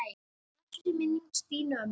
Blessuð sé minning ömmu Stínu.